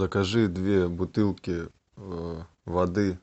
закажи две бутылки воды